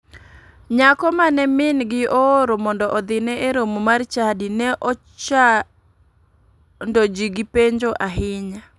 Nyako mane mingi ooro mondo odhine e romo mar chadi ne ochado ji gi penjo ahinya.